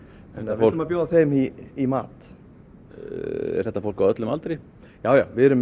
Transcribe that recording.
við ætlum að bjóða þeim í í mat er þetta fólk á öllum aldri já við erum með